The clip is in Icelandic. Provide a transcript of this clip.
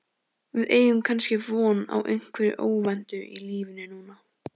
Við eigum kannski von á einhverju óvæntu í lífinu núna?